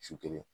Su kelen